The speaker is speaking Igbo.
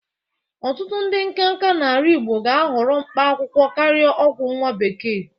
Ọtụtụ ndị nkanka n'ala Igbo ga-ahọrọ mkpa akwụkwọ karịa ọgwọ nwa bekee.